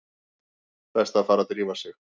Best að fara að drífa sig.